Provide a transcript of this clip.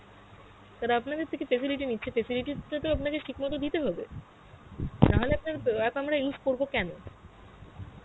আর আপনাদের থেকে facility নিচ্ছি, facility টা তো আপনাদের ঠিক মত দিতে হবে, নাহলে আপনার আ~ app আমরা use করব কেন?